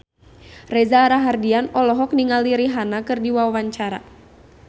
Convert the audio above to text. Reza Rahardian olohok ningali Rihanna keur diwawancara